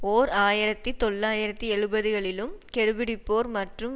ஓர் ஆயிரத்தி தொள்ளாயிரத்தி எழுபதுகளிலும் கெடுபிடிப்போர் மற்றும்